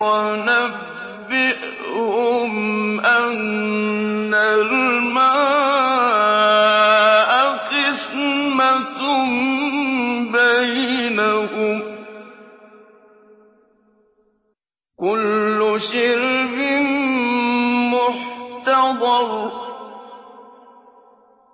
وَنَبِّئْهُمْ أَنَّ الْمَاءَ قِسْمَةٌ بَيْنَهُمْ ۖ كُلُّ شِرْبٍ مُّحْتَضَرٌ